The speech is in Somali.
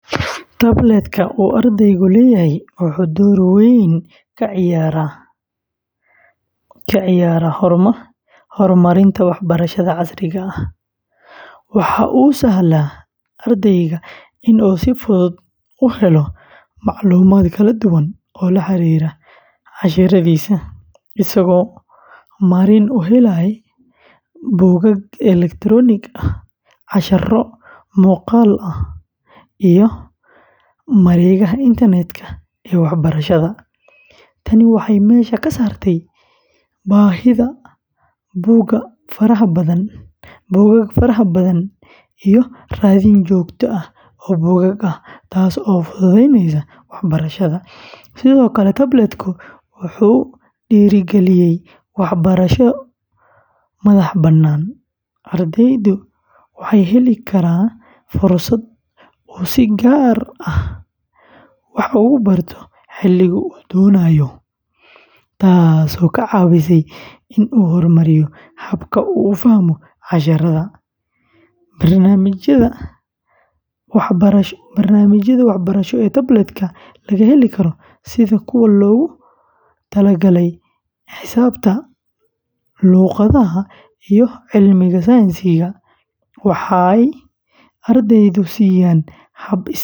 Tablet-ka uu ardaygu leeyahay wuxuu door weyn ka ciyaaraa horumarinta waxbarashada casriga ah. Waxa uu u sahlaa ardayga in uu si fudud u helo macluumaad kala duwan oo la xiriira casharradiisa, isagoo marin u helaya buugaag elektaroonik ah, casharro muuqaal ah, iyo mareegaha internet-ka ee waxbarashada. Tani waxay meesha ka saartaa baahida buugaag fara badan iyo raadin joogto ah oo buugag ah, taas oo fududaynaysa waxbarashada. Sidoo kale, tablet-ku wuxuu dhiirrigeliyaa waxbarasho madax-bannaan. Ardaygu wuxuu heli karaa fursad uu si gaar ah wax ugu barto xilliga uu doonayo, taasoo ka caawisa in uu horumariyo habka uu u fahmo casharrada. Barnaamijyada waxbarasho ee tablet-ka laga heli karo, sida kuwa loogu talagalay xisaabta, luqadaha, iyo cilmiga sayniska, waxay ardayga siiyaan hab is-dhexgal leh.